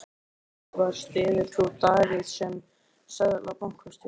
Spurt var, styður þú Davíð sem Seðlabankastjóra?